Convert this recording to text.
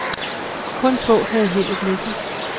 Kun få havde heldet med sig.